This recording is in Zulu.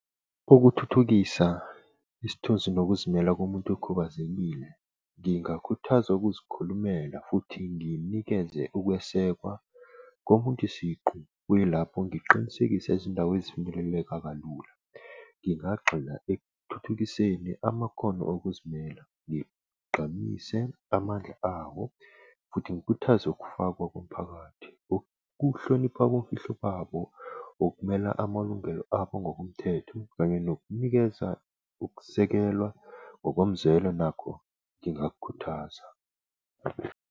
Ukuthuthukisa isithunzi nokuzimela komuntu okhubazekile. Ngingakhuthaza ukuzikhulumela futhi nginikeze ukwesekwa komuntu siqu kuyilapho ngiqinisekisa izindawo ezifinyeleleka kalula. Ngingagxila ekuthuthukiseni amakhono okuzimele, ngigqamise amandla awo, futhi ngikhuthaze ukufakwa komphakathi. Kukuhlonipha komfihlo babo, ngokumela amalungelo abo ngokomthetho kanye nokunikeza ukusekelwa ngokomzekelo nakho ngingakukhuthaza.